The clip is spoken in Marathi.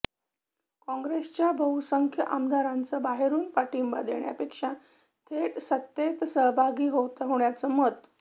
काँग्रेसच्या बहुसंख्य आमदारांचं बाहेरुन पाठिंबा देण्यापेक्षा थेट सत्तेत सहभागी होण्याचं मत